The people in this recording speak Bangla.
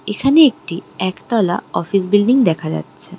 এখানে একটি একতলা অফিস বিল্ডিং দেখা যাচ্ছে।